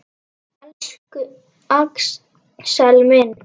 Elsku Axel minn.